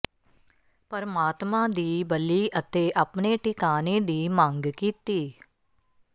ਪਰਮਾਤਮਾ ਦੀ ਬਲੀ ਅਤੇ ਆਪਣੇ ਟਿਕਾਣੇ ਦੀ ਮੰਗ ਕੀਤੀ